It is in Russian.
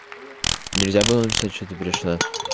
нельзя было написать что ты пришла